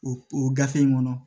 O o gafe in kɔnɔ